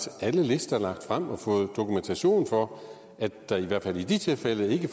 alle lister lagt frem og fået dokumentation for at der i hvert fald i de tilfælde ikke